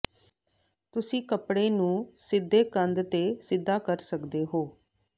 ਤੁਸੀਂ ਕੱਪੜੇ ਨੂੰ ਸਿੱਧੇ ਕੰਧ ਤੇ ਸਿੱਧਾ ਕਰ ਸਕਦੇ ਹੋ